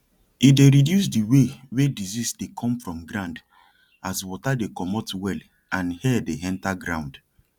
e dey reduce the way wey disease dey come from ground as water dey comot well and air dey enter ground